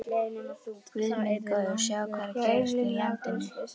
Guð minn góður: sjáðu hvað er að gerast í landinu.